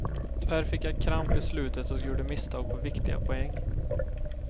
Tyvärr fick jag kramp i slutet och gjorde misstag på viktiga poäng.